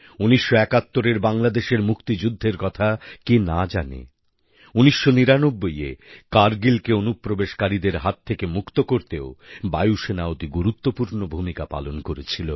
১৯৭১এর বাংলাদেশের মুক্তিযুদ্ধের কথা কে না জানে ১৯৯৯এ কারগিলকে অনুপ্রবেশকারীদের হাত থেকে মুক্ত করতেও বায়ুসেনা অতি গুরুত্বপূর্ণ ভূমিকা পালন করেছিল